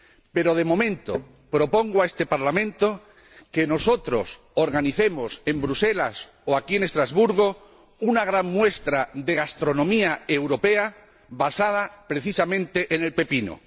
Pero, de momento, propongo a este Parlamento que nosotros organicemos en Bruselas o aquí, en Estrasburgo, una gran muestra de gastronomía europea basada, precisamente, en el pepino.